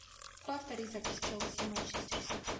повтори запись челси и манчестер сити